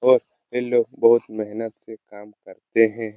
ओर ये लोग बहुत मेहनत से काम करते हैं |